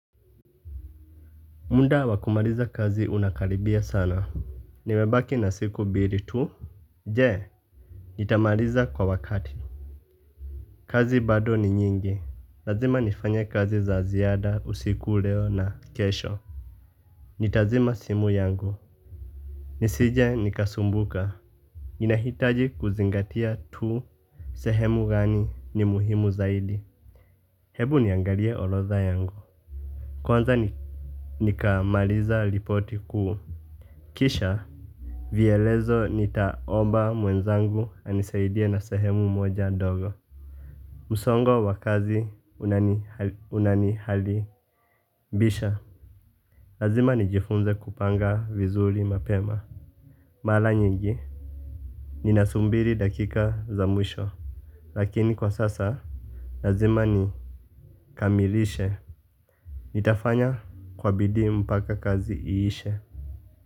Muda wa kumaliza kazi unakaribia sana. Nimebaki na siku biri tu. Je? Nitamaliza kwa wakati. Kazi bado ni nyingi. Lazima nifanye kazi za ziada usiku, leo na kesho. Nitazima simu yangu. Nisije nikasumbuka. Nina hitaji kuzingatia tu. Sehemu gani ni muhimu zaidi. Hebu niangalie orodha yangu. Kwanza nikamaliza ripoti kuu. Kisha. Vielezo nitaomba mwenzangu anisaidie na sehemu moja ndogo. Msongo wa kazi unanihalibisha. Lazima nijifunze kupanga vizuri mapema. Mara nyingi, ninasumbiri dakika za mwisho. Lakini kwa sasa, lazima ni kamilishe. Nitafanya kwa bidii mpaka kazi iishe.